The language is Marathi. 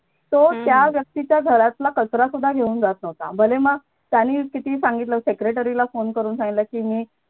तो त्या व्यक्तीच्या घरातला कचरा सुद्धा घेऊन जात नव्हता भले मग त्याने किती सांगितलं secretary ला फोन करून सांगितलं की मी